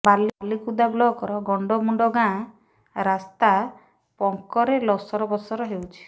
ବାଲିକୁଦା ବ୍ଲକର ଗଣ୍ଡମୁଣ୍ଡ ଗାଁ ରାସ୍ତା ପଙ୍କରେ ଲସର ପସର ହେଉଛି